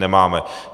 Nemáme.